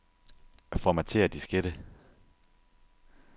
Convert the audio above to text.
Formatér diskette.